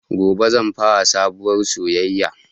Gobe zan fara sabuwar soyaya